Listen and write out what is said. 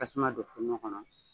Tasuma don kuŋo kɔnɔ